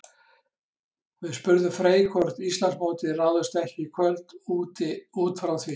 Við spurðum Frey hvort Íslandsmótið ráðist ekki í kvöld útfrá því?